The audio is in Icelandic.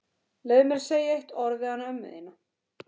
Leyfðu mér að segja eitt orð við hana ömmu þína.